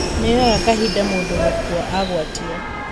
Nĩ yoyaga kahida mũndũ gũkua agwatio